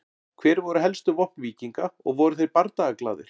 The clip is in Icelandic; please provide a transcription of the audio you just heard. Hver voru helstu vopn víkinga og voru þeir bardagaglaðir?